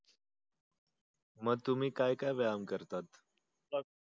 म तुम्ही काय काय व्यायाम करतात?